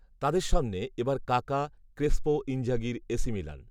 তাদের সামনে এ বার কাকা, ক্রেসপো, ইনজাঘির এ সি মিলান